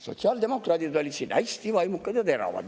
Sotsiaaldemokraadid olid siin hästi vaimukad ja teravad.